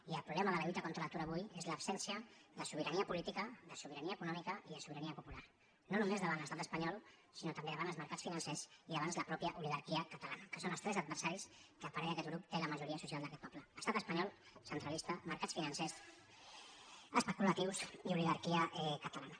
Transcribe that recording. i el problema de la lluita contra l’atur avui és l’absència de sobirania política de sobirania econòmica i de sobirania popular no només davant l’estat espanyol sinó també davant els mercats financers i davant la mateixa oligarquia catalana que són els tres adversaris que a parer d’aquest grup té la majoria social d’aquest poble estat espanyol centralista mercats financers especulatius i oligarquia catalana